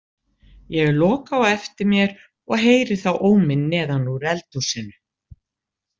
Ég loka á eftir mér og heyri þá óminn neðan úr eldhúsinu.